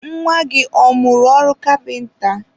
nwa gị ọ mụrụ ọrụ kapịnta?